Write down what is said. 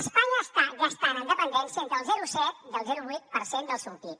espanya està gastant en dependència entre el zero coma set i el zero coma vuit per cent del seu pib